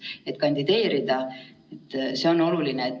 Praegused prognoosid pigem näevad ette ikkagi olukorra vaikset, aga siiski paranemist.